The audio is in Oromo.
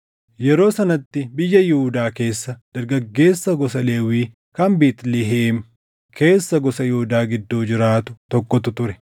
Yeroo sanatti biyya Yihuudaa keessa dargaggeessa gosa Lewwii kan Beetlihem keessa gosa Yihuudaa gidduu jiraatu tokkotu ture.